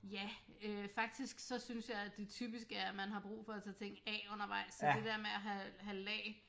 Ja øh faktisk så synes jeg at det typisk er at man har brug for at tage ting af undervejs så det dér med at have have lag